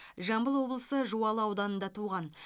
жамбыл облысы жуалы ауданында туған